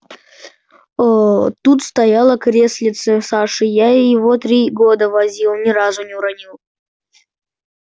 оо тут стояло креслице саши я и его три года возил ни разу не уронил